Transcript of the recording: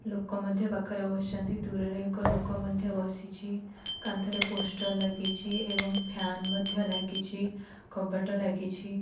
ଲୋକ ମଧ୍ୟ ପାଖରେ ବସିଛନ୍ତି ଦୂରରେ ଏକ ଲୋକ ମଧ୍ୟ ବସିଛି କାନ୍ଥରେ ପୋଷ୍ଟ ଲାଗିଛି ଏବଂ ଫ୍ୟାନ ମଧ୍ୟ ଲାଗିଛି କବାଟ ଲାଗିଛି।